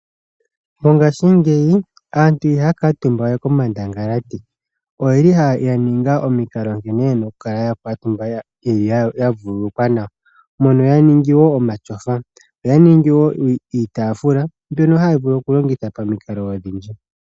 Mongashingeyi aantu ihaya kuutumba we komandangalati. Oyeli yaninga omikalo nkene yena okukala yakuutumba yavululukwa nawa. Mono yaningi wo omatyofa, oya ningi wo iitaafula mbyono haya vulu okulongitha pamikalo odhindji.